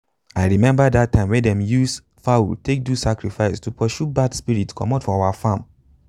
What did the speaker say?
i remember that time when them use fowl take do sacrifice to pursue bad spirit comot from our farm.